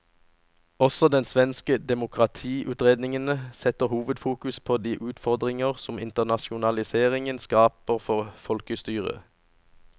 Også den svenske demokratiutredningen setter hovedfokus på de utfordringer som internasjonaliseringen skaper for folkestyret.